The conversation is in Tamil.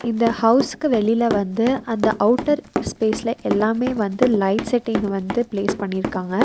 இந்த ஹவுஸ்க்கு வெளியில வந்து அந்த அவுட்டர் ஸ்பேஸ்ல எல்லாமே வந்து லைட் செட்டிங்க வந்து ப்ளேஸ் பண்ணிருக்காங்க.